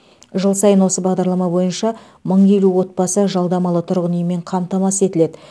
жыл сайын осы бағдарлама бойынша мың елу отбасы жалдамалы тұрғын үймен қамтамасыз етіледі